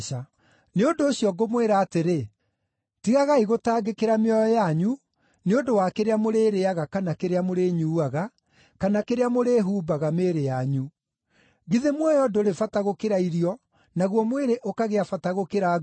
“Nĩ ũndũ ũcio ngũmwĩra atĩrĩ, tigagai gũtangĩkĩra mĩoyo yanyu, nĩ ũndũ wa kĩrĩa mũrĩrĩĩaga kana kĩrĩa mũrĩnyuuaga; kana kĩrĩa mũrĩĩhumbaga mĩĩrĩ yanyu. Githĩ muoyo ndũrĩ bata gũkĩra irio, naguo mwĩrĩ ũkagĩa bata gũkĩra nguo?